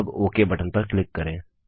अब okay button पर click करें